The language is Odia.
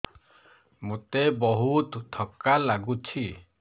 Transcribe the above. ମୋତେ ବହୁତ୍ ଥକା ଲାଗୁଛି